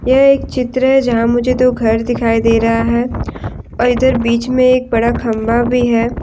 यह एक चित्र है जहाँ मुझे दो घर दिखाई दे रहा है और इधर बीच में एक बड़ा खम्बा भी है।